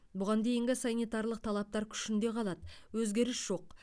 бұған дейінгі санитарлық талаптар күшінде қалады өзгеріс жоқ